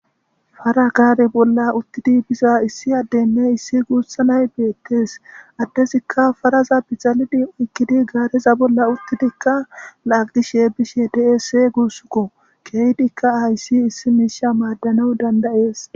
fara gaare bolla uttidi biza issi addenne issi guussanay beettees addesikka faraza bixalidi oykkidi gaareza bolla uttidikka laagishe bishe deese guussukko keeydikka ayssi issi miisha maaddana dandayees